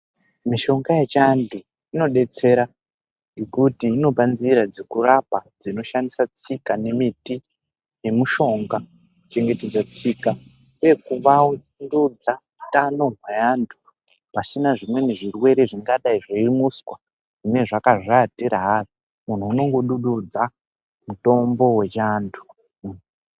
Mishonga yechiantu inodetsera ngekuti inopa nzira dzekurapa dzinoshandisa tsika nemiti nemushonga kuchengetedza tsika uye kuvandudza utano hweantu pasina zvimweni zvirwere zvingadai zveimuswa zvine zvakazviatira hazvo. Munhu unongodududza mutombo wechiantu .